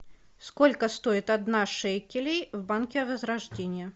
сколько стоит одна шекелей в банке возрождение